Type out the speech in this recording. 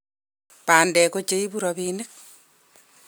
bandek ko che ibu robinik